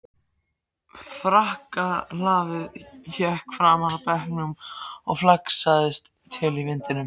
Frakkalafið hékk fram af bekknum og flaksaðist til í vindinum.